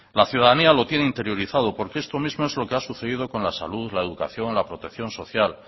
la ciudadanía lo tiene interiorizado porque esto mismo es lo que ha sucedido con la salud la educación la protección social